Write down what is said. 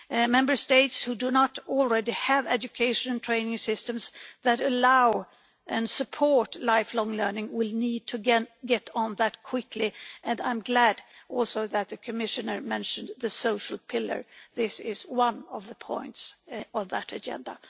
Member States who do not already have education and training systems that allow and support lifelong learning will need to get on that quickly, and I'm glad also that the Commissioner mentioned the social pillar, since this is one of the points on that agenda.